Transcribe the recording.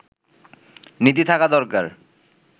নীতি থাকা দরকার